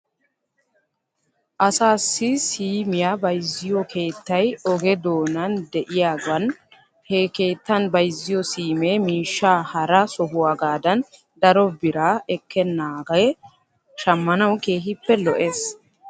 Assaassi siimiyaa bayzziyoo keettay oge doonan de'iyaagan he keettan bayzziyoo siimee miishshaa hara sohuwaagaadan daro biraa ekkenaagee shammanaw keehippe lo'es.